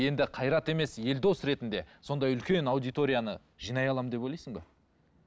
енді қайрат емес елдос ретінде сондай үлкен аудиторияны жинай аламын деп ойлайсың ба